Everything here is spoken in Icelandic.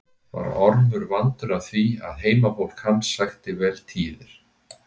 Var Ormur vandur að því að heimafólk hans sækti vel tíðir.